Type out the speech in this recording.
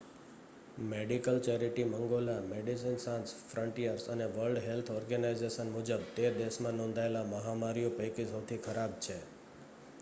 medical charity મંગોલા Medecins Sans Frontieres અને World Health Organization મુજબ તે દેશમાં નોંધાયેલ મહામારીઓ પૈકી સૌથી ખરાબ છે